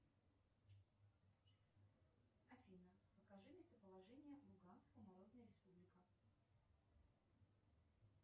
афина покажи местоположение луганская народная республика